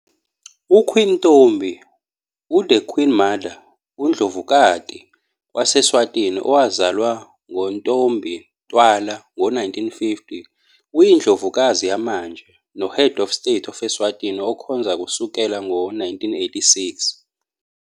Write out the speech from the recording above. U-Queen Ntfombi, u-The Queen Mother, u-Ndlovukati wase-Eswatini, owazalwa ngo- Ntfombi Tfwala ngo-1950, uyindlovukazi yamanje no- head of state of Eswatini, okhonza kusukela ngo-1986.